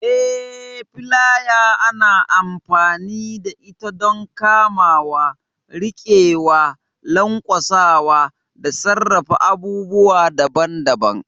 Eh, filaya ana amfani da ita don kamawa, riƙewa, lanƙwasa, da sarrafa abubuwa daban-daban.